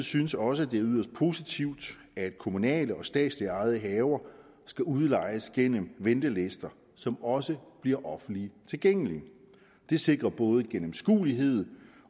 synes også at det er yderst positivt at kommunalt og statsligt ejede haver skal udlejes gennem ventelister som også bliver offentligt tilgængelige det sikrer både gennemskuelighed